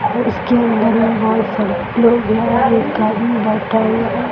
और उसके बगल बहोत सड़क एक आदमी बैठा हुआ है।